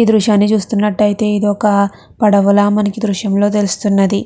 ఈ దృశ్యాన్ని చూస్తునట్టుయితే ఇదొక పడవల మనకు దృశ్యంలో తెలుస్తున్నది